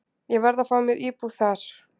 Ég verð að fá mér íbúð þar.